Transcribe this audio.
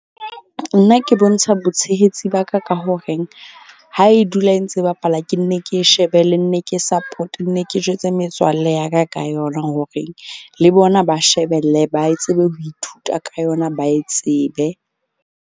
Nna ke bontsha botshehetsi ba ka ka horeng ha e dula e ntse bapala ke nne ke shebe le nne ke support, nne ke jwetse metswalle ya ka ka yona. Horeng le bona ba shebelle, ba e tsebe ho ithuta ka yona, ba e tsebe.